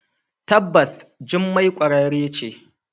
Tabbas jummai kwararre ce.